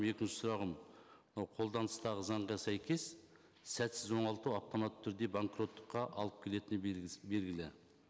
екінші сұрағым мынау қолданыстағы заңға сәйкес сәтсіз оңалту автоматты түрде банкроттыққа алып келетіні белгілі